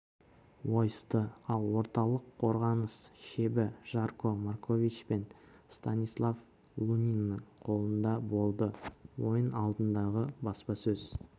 ойысты ал орталық қорғаныс шебі жарко маркович пен станислав луниннің қолында болды ойын алдындағы баспасөз